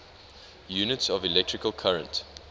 units of electrical current